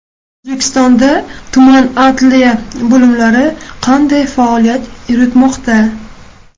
O‘zbekistonda tuman adliya bo‘limlari qanday faoliyat yuritmoqda?.